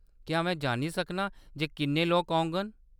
क्या में जानी सकनां जे किन्ने लोक औङन ?